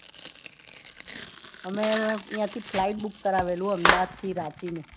અમે આઈથી flight book કરાવેલું અમદાવાદ થી રાંચી નું